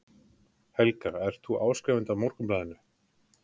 Helga: Ert þú áskrifandi að Morgunblaðinu?